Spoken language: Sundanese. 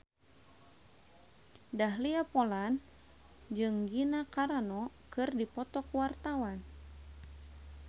Dahlia Poland jeung Gina Carano keur dipoto ku wartawan